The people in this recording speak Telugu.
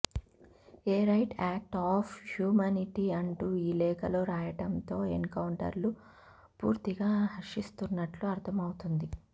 A right act of humanity అంటూ ఈ లేఖలో రాయడంతో ఎన్కౌంటర్ను పూర్తిగా హర్షిస్తున్నట్లు అర్థమవుతుంది